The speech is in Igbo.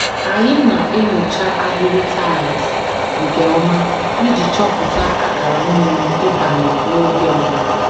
Anyị na-enyocha ahịrị taịls nke ọma iji chọpụta akara mmiri ịbanye n'oge mbụ